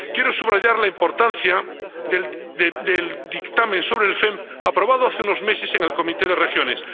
Quiero subrayar la importancia del dictamen sobre el FEMP aprobado hace unos meses en el Comité de las Regiones.